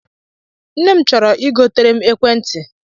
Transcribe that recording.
Nne m chọrọ I gotere m ekwentị.